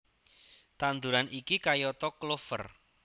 Tanduran iki kayata klover